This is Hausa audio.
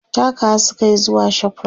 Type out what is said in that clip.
takawa sukayi zuwa Shoprite